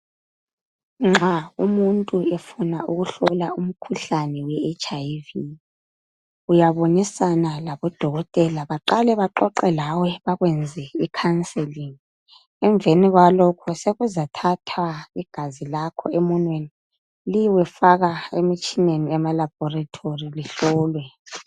Nxa umuntu efuna ukuhlola umkhuhlane weHIV uyabonisana labodokotela baqale baxoxe lawe bakwenze ikhanselingi emveni kwalokho sokuzathathwa igazi lakho emunweni liyekwefaka emitshineni emalabhorithori lihlolwe.